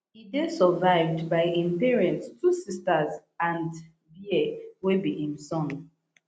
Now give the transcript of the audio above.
e dey survived by im parents two sisters and bear wey be im son